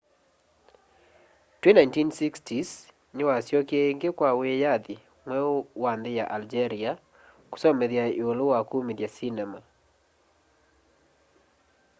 twi 1960s niwasyokie ingi kwa wiyathi mweu wa nthi ya algeria kusomethya iulu wa kumithya sinema